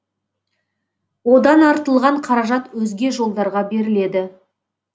одан артылған қаражат өзге жолдарға беріледі